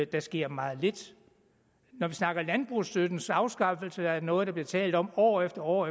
der sker meget lidt når vi snakker landbrugsstøttens afskaffelse er det noget der bliver talt om år efter år